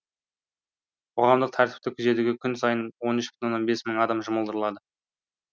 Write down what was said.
қоғамдық тәртіпті күзетуге күн сайын мың адам жұмылдырылады